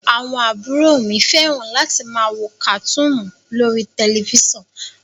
Àwọn àbúrò mi fẹ́ràn láti máa wo kàtúùnù lórí tẹ̀lifísàn